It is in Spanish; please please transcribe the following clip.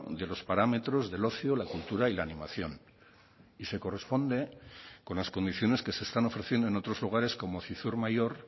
de los parámetros del ocio la cultura y la animación y se corresponde con las condiciones que se están ofreciendo en otros lugares como zizur mayor